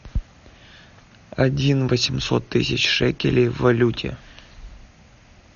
один восемьсот тысяч шекелей в валюте